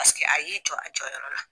Paseke a y'i jɔ a jɔ yɔrɔ la.